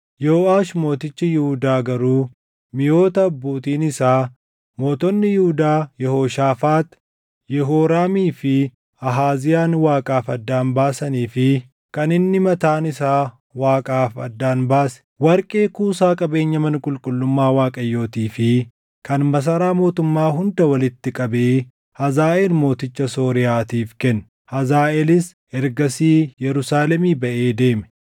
Yooʼaash mootichi Yihuudaa garuu miʼoota abbootiin isaa mootonni Yihuudaa Yehooshaafaax, Yehooraamii fi Ahaaziyaan Waaqaaf addaan baasanii fi kan inni mataan isaa Waaqaaf addaan baase, warqee kuusaa qabeenya mana qulqullummaa Waaqayyootii fi kan masaraa mootummaa hunda walitti qabee Hazaaʼeel mooticha Sooriyaatiif kenne; Hazaaʼeelis ergasii Yerusaalemii baʼee deeme.